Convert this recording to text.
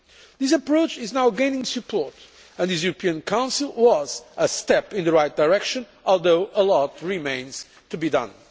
This approach is now gaining support and this European Council was a step in the right direction, although a lot remains to be done.